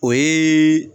O ye